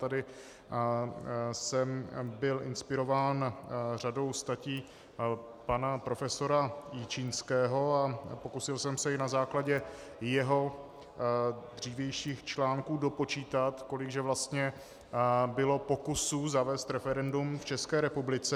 Tady jsem byl inspirován řadou statí pana profesora Jičínského a pokusil jsem se i na základě jeho dřívějších článků dopočítat, kolik že vlastně bylo pokusů zavést referendum v České republice.